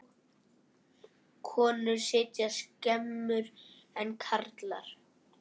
Konur sitja skemur en karlar.